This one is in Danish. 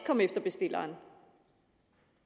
komme efter bestilleren